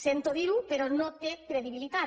sento dir ho però no té credibilitat